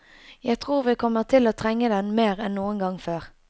Jeg tror vi kommer til å trenge den mer enn noen gang før.